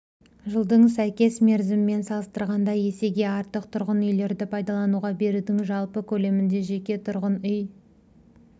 жылдың сәйкес мерзімімен салыстырғанда есеге артық тұрғын үйлерді пайдалануға берудің жалпы көлемінде жеке тұрғын үй